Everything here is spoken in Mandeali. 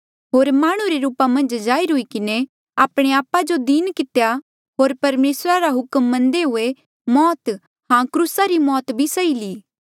होर माह्णुं रे रूपा मन्झ जाहिर हुई किन्हें आपणे आपा जो दीन कितेया होर परमेसरा रा हुक्म मन्नदे हुए मौत हां क्रूसा री मौत भी सही ली